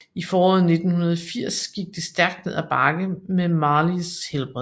I foråret 1980 gik det stærkt ned af bakke med Marleys helbred